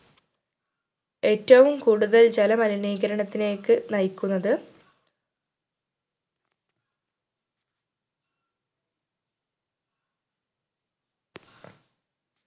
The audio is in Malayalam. ഏറ്റവും കൂടുതൽ ജലമലിനീകരണത്തിലേക്ക് നയിക്കുന്നത്